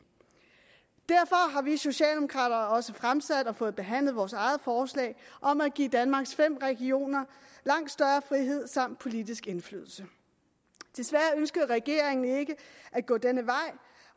derfor har vi socialdemokrater også fremsat og fået behandlet vores eget forslag om at give danmarks fem regioner langt større frihed samt politisk indflydelse desværre ønskede regeringen ikke at gå denne vej